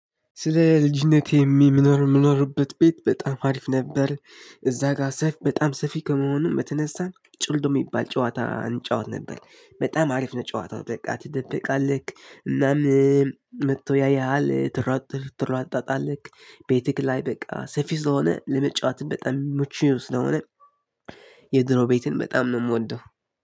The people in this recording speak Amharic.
ስለ ልጅነቴ የሚኖር ምኖርበት ቤት በጣም አሪፍ ነበር። እዛ ጋር ሰፊ በጣም ሰፊ ከመሆኑም በተነሳ ጭልድ የሚባል ጨዋታ እንጫወት ነበር። በጣም አሪፍ ነው ጨዋታው ትደበቃለህ እናም መጥቶ ያየሃል ትሯጥ ትሯጣጣለክ ቤትክ ላይ በቃ ሰፊ ስለሆነ ለመጫወት በጣም የሚመች ስለሆነ። የድሮ ቤትን በጣም ነው የምወደው።